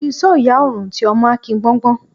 Bí isó ìyá ò rùn, ti ọmọ á ki gbọ́ngbọ́n.